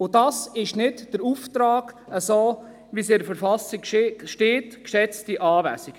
Und das ist nicht der Auftrag, der dem entspricht, was in der Verfassung steht, geschätzte Anwesende.